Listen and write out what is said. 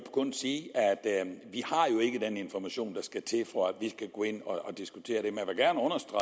kun sige at den information der skal til for at vi kan gå ind og diskutere det